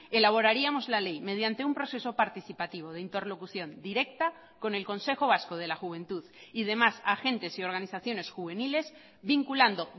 elaboraríamos la ley mediante un proceso participativo de interlocución directa con el consejo vasco de la juventud y demás agentes y organizaciones juveniles vinculando